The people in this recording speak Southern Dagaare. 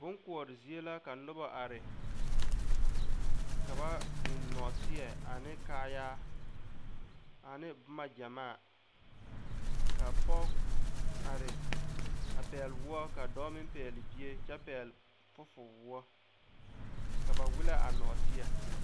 Boŋ koɔre zie la ka noba are ka ba biŋ nɔɔteɛ ane kaaya ane boma gyamaa ka pɔge are a pɛgle woɔ ka dɔɔ meŋ pɛgle bie kyɛ pɛgle fufuli woɔ ka ba wel a nɔɔteɛ.